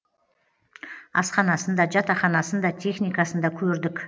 асханасын да жатақханасын да техникасын да көрдік